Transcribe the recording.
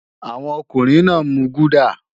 Àwọn ọkùnrin náà ń mu gúdà